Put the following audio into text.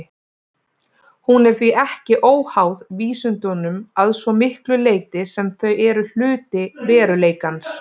Hún er því ekki óháð vísindunum að svo miklu leyti sem þau eru hluti veruleikans.